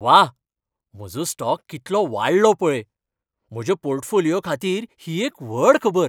वा, म्हजो स्टॉक कितलो वाडलो पळय! म्हज्या पोर्टफोलिओ खातीर ही एक व्हड खबर.